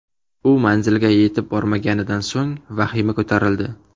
U manzilga yetib bormaganidan so‘ng vahima ko‘tarildi.